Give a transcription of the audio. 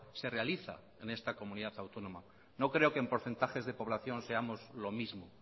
se realiza en esta comunidad autónoma no creo que en porcentajes de población seamos lo mismo